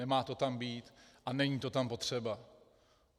Nemá to tam být a není to tam potřeba.